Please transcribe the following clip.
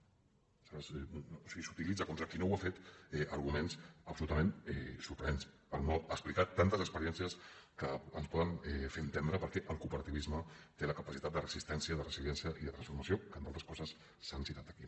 o sigui s’utilitzen contra el qui no ho ha fet arguments absolutament sorprenents per no explicar tantes experiències que ens poden fer entendre per què el cooperativisme té la capacitat de resistència de resiliència i de transformació que entre altres coses s’han citat aquí